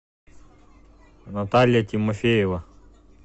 наталья тимофеева